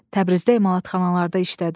Təbrizdə emalatxanalarda işlədim.